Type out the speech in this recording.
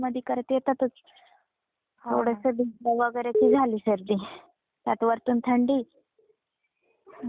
थोडस भिजल वैगरे की झालीच सर्दी त्यात वरतून थंडी. अजिबात सहन होत नाही मग त्यांना.